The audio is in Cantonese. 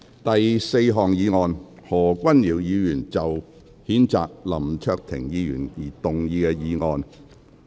第四項議案：何君堯議員就譴責林卓廷議員動議的議案。